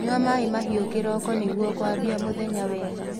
Nyua maĩ mahiu kiroko nĩguo kuambia mũthenya wega